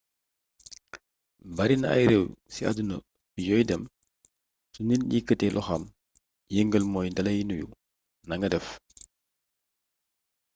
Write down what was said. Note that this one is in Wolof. barina ay réew ci àdduna bi yooy dem su nit yëkkatee loxoom yëngal mooy dalay nuyu nanga def